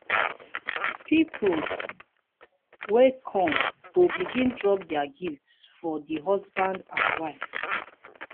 pipol wey kom go begin drop dia gifts for di husband and wife